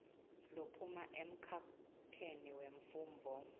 lophuma emkhakheni wemfundvo